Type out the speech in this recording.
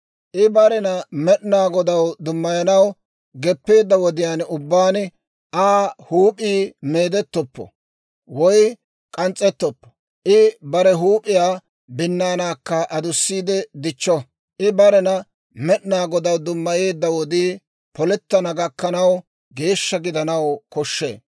« ‹I barena Med'inaa Godaw dummayanaw geppeedda wodiyaan ubbaan, Aa huup'ii meedettoppo woy k'ans's'ettoppo. I bare huup'iyaa binnaanaakka adussiide dichcho. I barena Med'inaa Godaw dummayeedda wodii polettana gakkanaw, geeshsha gidanaw koshshee.